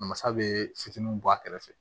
Masa bɛ fitininw bɔ a kɛrɛfɛ